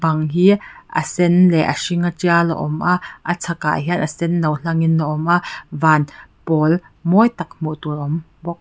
bang hi a sen leh a hring tial a awm a a chhakah hian a senno hlangin a awm a van pawl mawi tak hmuh tur a awm bawk.